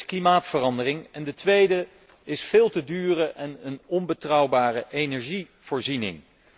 De eerste is klimaatverandering, de tweede is de veel te dure en onbetrouwbare energievoorziening.